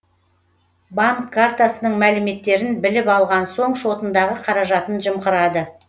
банк картасының мәліметтерін біліп алған соң шотындағы қаражатын жымқырады